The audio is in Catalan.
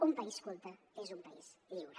un país culte és un país lliure